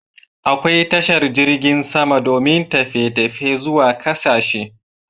Akwai tashar jirgin sama domin tafiye tafiye zuwa ƙasashe